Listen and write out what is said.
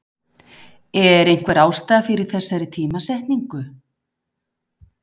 Er einhver ástæða fyrir þessari tímasetningu?